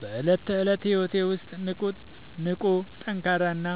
በዕለት ተዕለት ሕይወቴ ውስጥ ንቁ፣ ጠንካራ እና